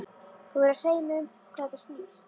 Þú verður að segja mér um hvað þetta snýst.